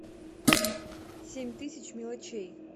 семь тысяч мелочей